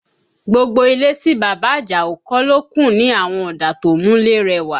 Gbogbo ilé tí bàbá Àjàó kọ́ ló kùn ní àwọn ọ̀dà tó múlé rẹwà